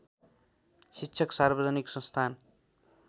शिक्षक सार्वजनिक संस्थान